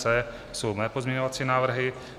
C jsou moje pozměňovací návrhy.